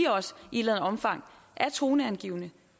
i et omfang er toneangivende